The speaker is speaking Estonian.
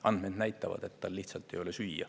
Andmed näitavad, et tal lihtsalt ei ole süüa.